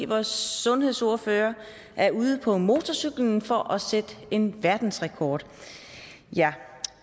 vores sundhedsordfører er ude på motorcyklen for at sætte en verdensrekord